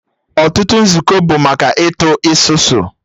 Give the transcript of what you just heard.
Ọtụtụ nzukọ bụ maka Ịtụ isusu